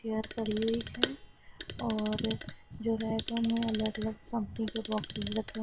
chair पड़ी हुई है और जो रैक है उनमें अलग अलग कंपनी के बॉक्सेस रखें ह--